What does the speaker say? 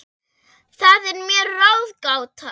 Það er mér ráðgáta